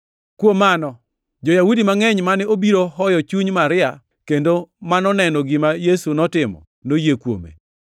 Kuom mano, jo-Yahudi mangʼeny mane obiro hoyo chuny Maria, kendo ma noneno gima Yesu notimo, noyie kuome.